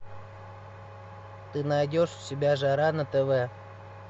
ты найдешь у себя жара на тв